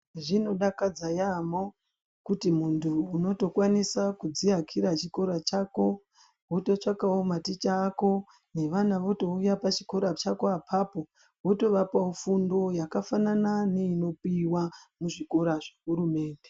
Zvinodakadza yaamho kuti muntu unotokwanisa kudziakira chikora chako wototsvakawo maticha ako nevana votouya pachikora chako apapo wotovapawo fundo yakafanana neinopiwa ngehurumende.